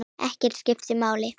Ekkert skiptir máli.